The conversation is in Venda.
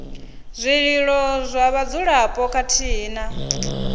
zwililo zwa vhadzulapo khathihi na